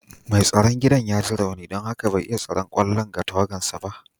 Mai tsaron gidan ya ji rauni don haka bai iya tsaron kwallon ga tawagansa ba.